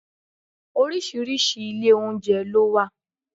Oríṣiríṣi ilé oúnjẹ ló wà.